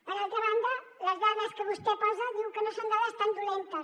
per altra banda les dades que vostè posa diu que no són dades tan dolentes